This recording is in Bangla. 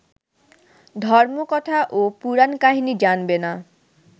ধর্মকথা ও পুরাণকাহিনী জানবে না